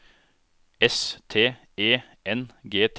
S T E N G T